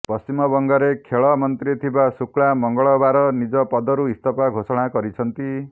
ପଶ୍ଚିମବଙ୍ଗରେ ଖେଳ ମନ୍ତ୍ରୀ ଥିବା ଶୁକ୍ଳା ମଙ୍ଗଳବାର ନିଜ ପଦରୁ ଇସ୍ତଫା ଘୋଷଣା କରିଛନ୍ତି